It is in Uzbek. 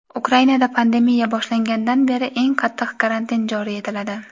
Ukrainada pandemiya boshlangandan beri eng qattiq karantin joriy etiladi.